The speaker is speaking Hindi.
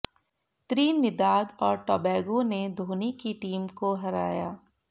त्रिनिदाद और टोबैगो ने धोनी की टीम को हराया